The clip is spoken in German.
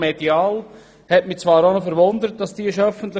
Das hat mich allerdings etwas erstaunt: